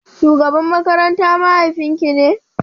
Shugaban makaranta mahaifin ki ne?